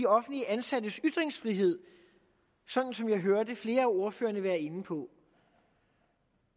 offentligt ansattes ytringsfrihed som jeg hørte flere af ordførerne være inde på